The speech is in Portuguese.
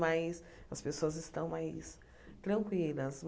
Mas as pessoas estão mais tranquilas.